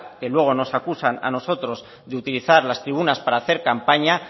que luego nos acusan a nosotros de utilizar las tribunas para hacer campaña